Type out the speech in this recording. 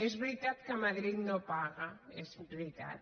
és veritat que madrid no paga és veritat